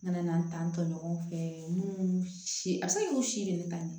N nana n ta tɔ ɲɔgɔn fɛ munnu si a bɛ se k'u si de ta